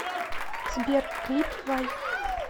сбер клип вай